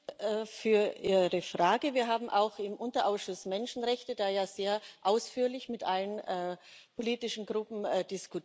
Auf Ihre Frage Wir haben auch im Unterausschuss Menschenrechte sehr ausführlich mit allen politischen Gruppen diskutiert.